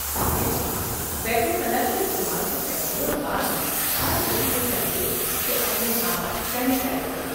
ٹھیک ہے! بیت الخلا کے استعمال سے پہلے اور بعد میں، ہر کسی کو چاہیے کہ اپنے ہاتھ سینیٹائز کرے۔